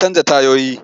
Ya canja tayoyi.